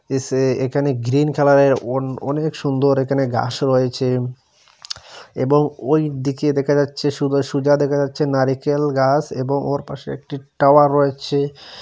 এসে একানে গ্রীন কালারের অন-অনেক সুন্দর একানে গাস রয়েচে এবং ওই দিকে দেখা যাচ্ছে সুদা-সুজা দেখা যাচ্ছে নারিকেল গাছ এবং ওর পাশে একটি টাওয়ার রয়েচে ।